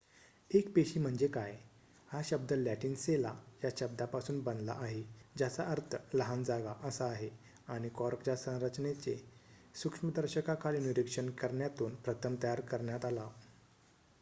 "एक पेशी म्हणजे काय? हा शब्द लॅटिन "सेला" या शब्दापासून बनला आहे ज्याचा अर्थ "लहान जागा" असा आहे आणि कॉर्कच्या संरचनेचे सूक्ष्मदर्शकाखाली निरीक्षण करण्यातून प्रथम तयार करण्यात आला.